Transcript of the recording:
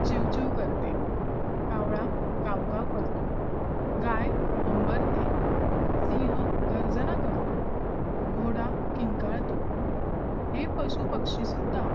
चिव चिव करते कावळा काव काव करतो गाय हंबरते सिंह गर्जना करतो घोडा किंकाळतो हे पशुपक्षी सुद्धा